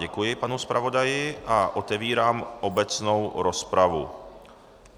Děkuji panu zpravodaji a otevírám obecnou rozpravu.